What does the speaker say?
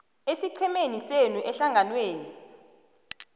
esiqhemeni senu ehlanganwenenu